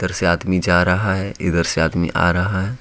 इधर से आदमी जा रहा है इधर से आदमी आ रहा है।